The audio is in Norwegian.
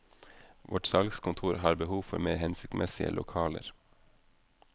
Vårt salgskontor har behov for mer hensiktsmessige lokaler.